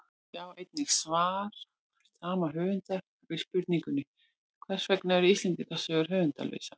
Sjá einnig svar sama höfundar við spurningunni Hvers vegna eru Íslendingasögur höfundarlausar?